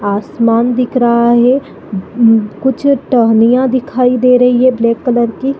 आसमान दिख रहा है कुछ टहनिया दिखाई दे रही है ब्लैक कलर की--